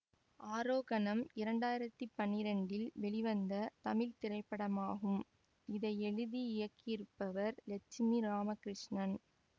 ஆரோகணம் இரண்டு ஆயிரத்தி பன்னிரெண்டில் வெளிவந்த தமிழ் திரைப்படமாகும் இதை எழுதி இயக்கியிருப்பவர் லட்சுமி இராமகிருஷ்ணன்